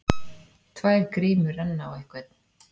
Tvær grímur renna á einhvern